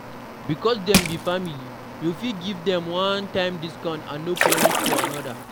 Because dem be family, you fit give dem one-time doscount and no promise of anoda